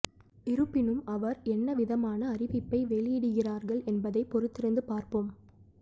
இருப்பினும் அவர் என்ன விதமான அறிவிப்பை வெளியிடுகிறார்கள் என்பதைப் பொறுத்திருந்து பார்ப்போம்